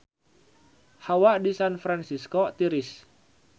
Hawa di San Fransisco tiris